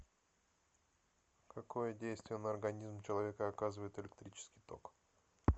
какое действие на организм человека оказывает электрический ток